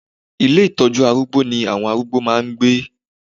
Ilé ìtọ́jú arúgbó ní àwon arúgbó máà ń gbé